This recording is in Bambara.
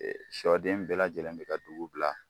sɔ den bɛɛ lajɛlen bɛ ka dugu bila.